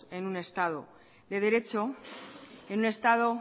en un estado de derecho en un estado